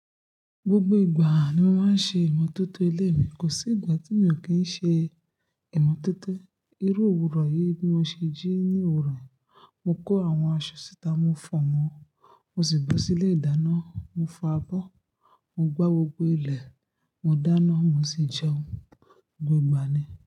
Gbogbo ìgbà ni mo máa ń ṣe ìmọ̀tótó ilé mi. Kò sí ìgbà tí mi ò kí ń ṣe ìmọ̀tótó. Irú òwúrọ̀ yìí bí mo ṣe jí ní òwúrọ̀ yìí, mo kó àwọn aṣọ síta, mo fọ̀ wọ́n, mo sì bọ sí ilé ìdáná, mo fọ abọ́, mo gbá gbogbo ilẹ̀, mo dáná, mo sì jẹun. Gbogbo ìgbà ni.